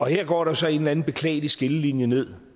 her går der så en eller en beklagelig skillelinje ned